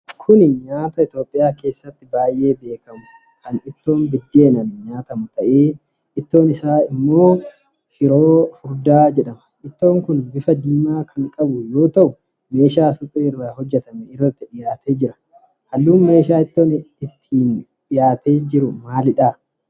Kun nyaata Itoophiyaa keessatti beekamu, kan ittoon biddeenaan nyaatamu ta'ee, ittoon isaa tagaabinoo jedhama. Ittoon kun bifa diimaa kan qabu yoo ta'u meeshaa suphee irra hojjatame irratti dhiyaatee jira. Halluun meeshaa ittoon kun itti dhiyaatee maalidha?